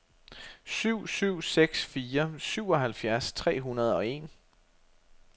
syv syv seks fire syvoghalvfjerds tre hundrede og en